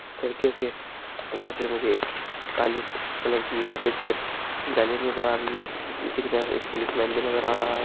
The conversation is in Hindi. खिड़कियों के अंदर से मुझे एक काले कलर की सफेद कलर की जाली नजर आ रही है नीचे की तरफ एक पुलिस लाइन में नजर आ रहा है।